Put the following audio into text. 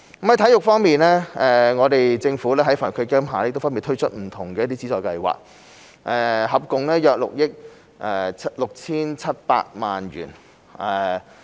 在體育方面，政府在基金下分別推出不同的資助計劃，涉及共約6億 6,700 萬元。